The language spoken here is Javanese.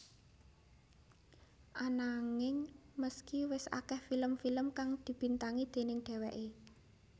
Ananging meski wis akeh film film kang dibintangi déning dheweké